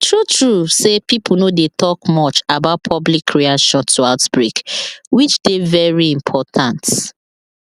true true say pipo no dey talk much about public reaction to outbreak which dey very important